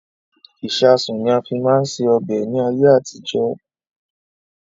Ìsáásùn ni a fi máa ń ṣe ọbẹ̀ ni ayé àtijọ́